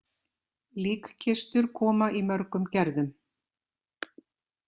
Líkkistur koma í mörgum gerðum.